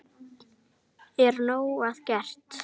Er nóg að gert?